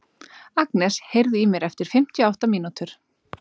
Agnes, heyrðu í mér eftir fimmtíu og átta mínútur.